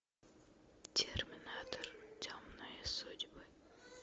терминатор темные судьбы